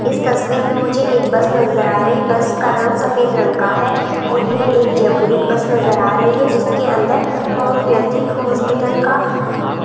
इस तस्वीर में मुझे एक बस नजर आ रही बस का रंग सफेद रंग का है और यह एक जयपुरीट बस नजर आ रही है जिसके अंदर होम्योपैथिक हॉस्पिटल का--